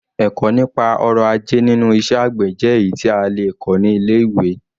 Ẹ̀kọ́ nípa ọrọ̀ ajé nínú iṣẹ́ àgbè jẹ́ èyí tí a lè kọ́ ní ilé-ìwé.